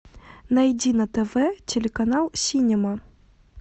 найди на тв телеканал синема